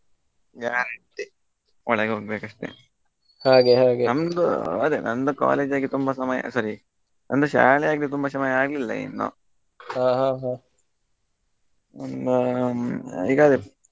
guarantee ಒಳಗೆ ಹೋಗ್ಬೇಕ್ ಅಷ್ಟೇ ನಮ್ದು ಅದೇ ನಮ್ದು ಕಾಲದಲ್ಲಿ ತುಂಬಾ ಸಮಯ ಸರಿ ಒಂದು ಶಾಲೆಯಾಗಿ ತುಂಬಾ ಚನ್ನಾಗಿ ಆಗಲಿಲ್ಲಾ ಇನ್ನು ಇನ್ನು ಈಗ ಅದೇ.